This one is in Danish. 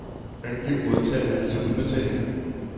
Angiv modtagere af disse udbetalinger.